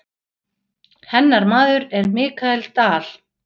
Hennar maður er Michael Dal.